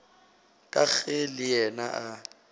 ka ge le yena a